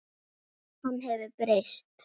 Hann hefur breyst.